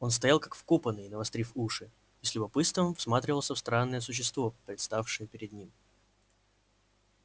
он стоял как вкопанный навострив уши и с любопытством всматривался в странное существо представшее перед ним